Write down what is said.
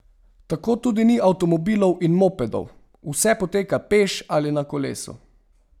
Tako tudi ni avtomobilov in mopedov, vse poteka peš ali na kolesu.